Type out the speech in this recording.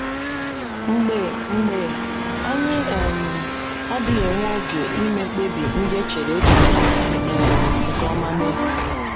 Mgbe mgbe, anyị um adịghị enwe oge ime mkpebi ndị e chere echiche um nke ọma mee.